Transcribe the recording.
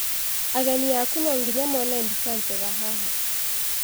Ageni aku no nginya mone mbica njega haha.